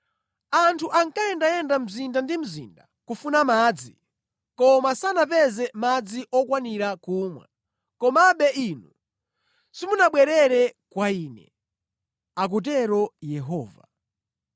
Anthu ankayenda mzinda ndi mzinda kufuna madzi, koma sanapeze madzi okwanira kumwa. Komabe inu simunabwerere kwa Ine,” akutero Yehova.